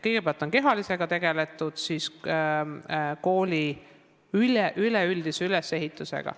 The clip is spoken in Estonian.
Kõigepealt on tegeletud kehalise kasvatusega ja siis kooli üleüldise ülesehitusega.